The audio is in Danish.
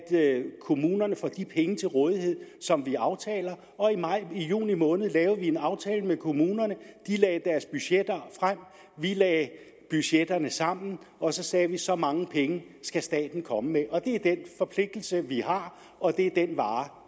kommunerne får de penge til rådighed som vi aftaler og i juni måned lavede vi en aftale med kommunerne de lagde deres budgetter frem vi lagde budgetterne sammen og så sagde vi så mange penge skal staten komme med det er den forpligtelse vi har og det er den vare